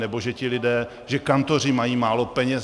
Nebo že ti lidé, že kantoři mají málo peněz?